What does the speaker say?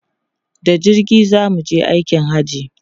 Da jirgi za mu je aikin Hajji.